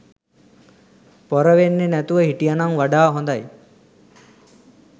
පොර වෙන්නෙ නැතුව හිටියනම් වඩා හොදයි